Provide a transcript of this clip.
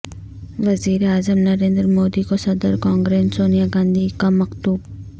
وزیراعظم نریندر مودی کو صدر کانگریس سونیا گاندھی کا مکتوب